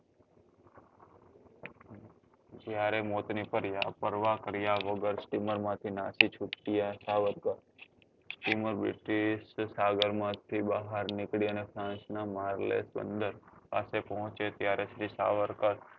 જયારે મોત ની પરવા કર્યા વગર steamer માં થી નાસી છુટ્યા સાવરકર steamer british સાગર માં થી બહાર નીકળી અને બંદર પાસે પહોચે ત્યારે શ્રી સાવરકર